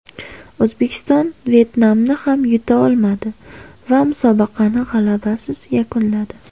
O‘zbekiston Vyetnamni ham yuta olmadi va musobaqani g‘alabasiz yakunladi.